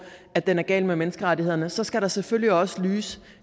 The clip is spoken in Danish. at den er gal med menneskerettighederne i så skal der selvfølgelig også lyse